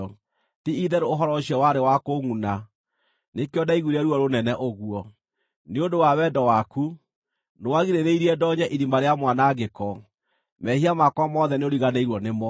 Ti-itherũ ũhoro ũcio warĩ wa kũngʼuna, nĩkĩo ndaiguire ruo rũnene ũguo. Nĩ ũndũ wa wendo waku, nĩwagirĩrĩirie ndoonye irima rĩa mwanangĩko; mehia makwa mothe nĩũriganĩirwo nĩmo.